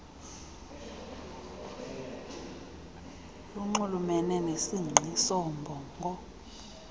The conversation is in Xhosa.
lunxulumene nesingqi soombongo